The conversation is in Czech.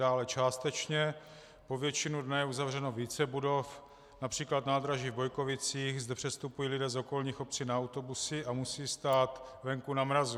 Dále částečně po většinu dne je uzavřeno více budov, například nádraží v Bojkovicích, zde přestupují lidé z okolních obcí na autobusy a musí stát venku na mrazu.